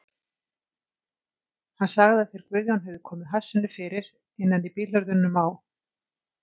Hann sagði að þeir Guðjón hefðu komið hassinu fyrir innan í bílhurðunum á